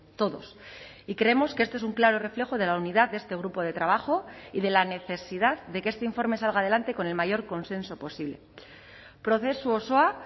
todos y creemos que este es un claro reflejo de la unidad de este grupo de trabajo y de la necesidad de que este informe salga adelante con el mayor consenso posible prozesu osoa